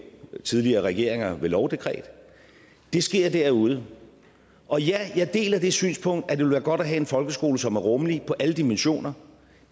tidligere regeringer ved lovdekret det sker derude og ja jeg deler det synspunkt at det ville være godt at have en folkeskole som var rummelig i alle dimensioner